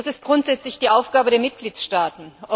Das ist grundsätzlich die Aufgabe der Mitgliedstaaten.